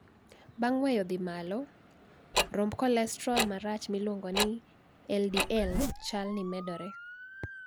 Bang weyo dhi malo, romb kolestrol marach miluongo ni 'LDL'chal ni medore.